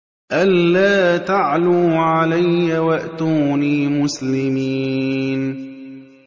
أَلَّا تَعْلُوا عَلَيَّ وَأْتُونِي مُسْلِمِينَ